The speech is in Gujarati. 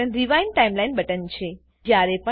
આ બટન રીવાઇન્ડ ટાઈમલાઈન બટન છે